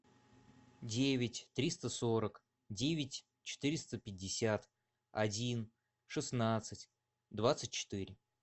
девять триста сорок девять четыреста пятьдесят один шестнадцать двадцать четыре